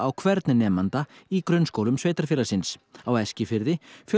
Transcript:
hvern nemanda í grunnskólum sveitarfélagsins á Eskifirði